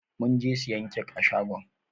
Mun je siyan kek a shagon.